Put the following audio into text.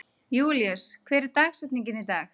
Júlíus, hver er dagsetningin í dag?